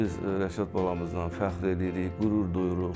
Biz Rəşad balamızdan fəxr eləyirik, qürur duyuruq.